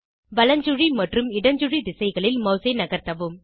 வலஞ்சுழி மற்றும் இடஞ்சுழி திசைகளில் மாஸ் ஐ நகர்த்தவும்